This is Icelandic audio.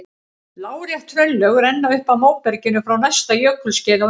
Lárétt hraunlög renna upp að móberginu frá næsta jökulskeiði á undan.